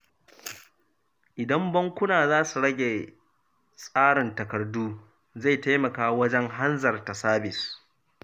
Idan bankuna za su rage tsarin takardu, zai taimaka wajen hanzarta sabis.